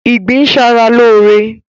Ìgbín ń ṣa ra lóóre